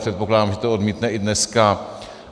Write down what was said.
Předpokládám, že to odmítne i dneska.